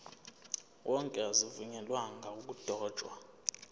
wonke azivunyelwanga ukudotshwa